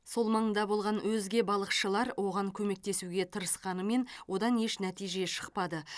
сол маңда болған өзге балықшылар оған көмектесуге тырысқанымен одан еш нәтиже шықпады